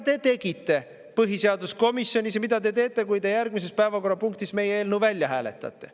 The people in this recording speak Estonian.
Te tegite seda põhiseaduskomisjonis ja te teete seda siis, kui te järgmises päevakorrapunktis meie eelnõu välja hääletate.